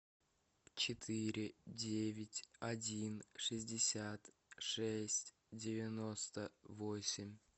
четыре девять один шестьдесят шесть девяносто восемь